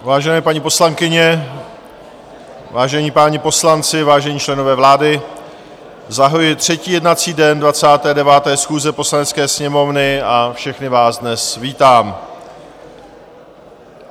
Vážené paní poslankyně, vážení páni poslanci, vážení členové vlády, zahajuji třetí jednací den 29. schůze Poslanecké sněmovny a všechny vás dnes vítám.